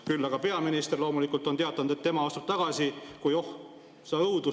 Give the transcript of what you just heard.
Küll aga peaminister loomulikult on teatanud, et tema astub tagasi, kui – oh sa õudus!